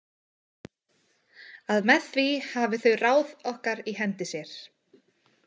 Að með því hafi þau ráð okkar í hendi sér.